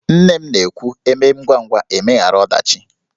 Nne m na-ekwu "E mee ngwangwa, e meghara ọdachi"